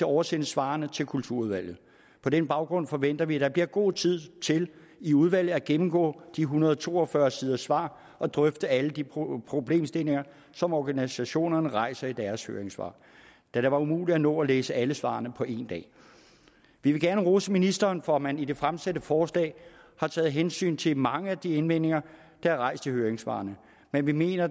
oversende svarene til kulturudvalget på den baggrund forventer vi at der bliver god tid til i udvalget at gennemgå de en hundrede og to og fyrre siders svar og drøfte alle de problemstillinger som organisationerne rejser i deres høringssvar da det var umuligt at nå at læse alle svarene på en dag vi vil gerne rose ministeren for at man i det fremsatte forslag har taget hensyn til mange af de indvendinger der er rejst i høringssvarene men vi mener